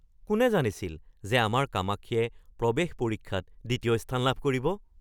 কোনে জানিছিল যে আমাৰ কামাক্ষীয়ে প্ৰৱেশ পৰীক্ষাত দ্বিতীয় স্থান লাভ কৰিব?